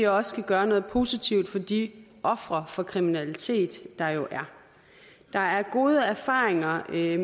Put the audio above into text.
også kan gøre noget positivt for de ofre for kriminalitet der jo er der er gode erfaringer med